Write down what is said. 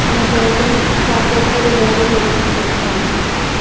হবে, তারপর পরিবার কেও সচেতন করতে হবে